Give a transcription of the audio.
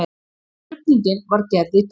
Krufning var gerð í dag.